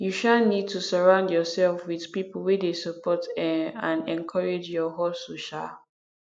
you um need to surround yourself with people wey dey support um and encourage your hustle um